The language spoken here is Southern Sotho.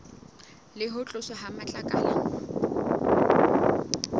le ho tloswa ha matlakala